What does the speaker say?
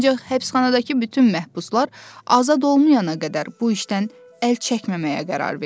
Ancaq həbsxanadakı bütün məhbuslar azad olmayana qədər bu işdən əl çəkməməyə qərar verdi.